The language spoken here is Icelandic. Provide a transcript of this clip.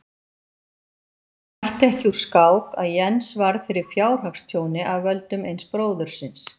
Það bætti ekki úr skák að Jens varð fyrir fjárhagstjóni af völdum eins bróðurins.